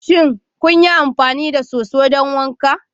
Shin kun yi amfani da soso don wanka?